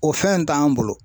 O fɛn t'an bolo.